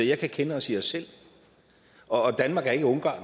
jeg kan kende os i os selv og danmark er ikke ungarn